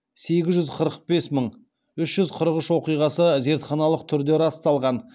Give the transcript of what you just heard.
сегіз жүз қырық бес мың үш жүз қырық үш оқиғасы зертханалық түрде расталған